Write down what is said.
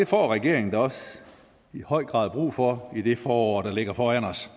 får regeringen da også i høj grad brug for i det forår der ligger foran os